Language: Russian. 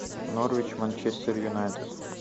норвич манчестер юнайтед